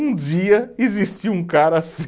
Um dia existiu um cara assim.